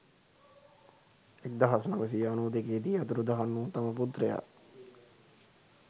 එක්දහස් නවසිය අනු දෙකේ දී අතුරුදහන් වූ තම පුත්‍රයා